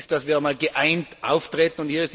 Wichtig ist, dass wir geeint auftreten.